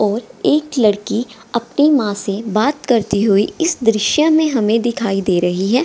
और एक लड़की अपनी माँ से बात करती हुई इस दृश्य में हमें दिखाई दे रही है।